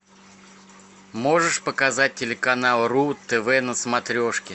можешь показать телеканал ру тв на смотрешки